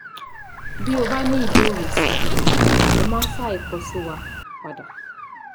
Bí o bá ní ìbéèrè sí i ẹ má ṣàì kọ sí wa padà